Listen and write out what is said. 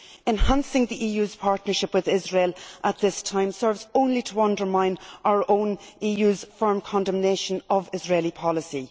Enhancing the EU's partnership with Israel at this time serves only to undermine our own EU's firm condemnation of Israeli policy.